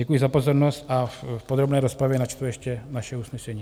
Děkuji za pozornost a v podrobné rozpravě načtu ještě naše usnesení.